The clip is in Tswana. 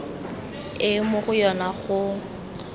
e mo go yona go